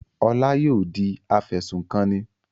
Ọlá yóò di afẹ̀sùnkanni.